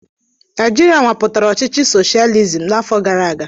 Naijiria nwapụtara ọchịchị soshializim n'afọ gara aga.